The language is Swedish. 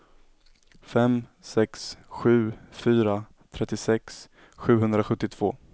fem sex sju fyra trettiosex sjuhundrasjuttiotvå